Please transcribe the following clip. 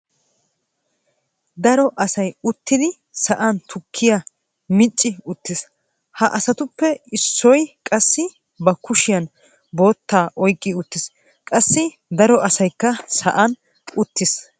daro asay uttidi sa'an tukkiya micci uttiis. ha asatuppe issoy qassi ba kushiyan bootta oyqqi uttiis. qassi daro asaykka sa'an uttiis.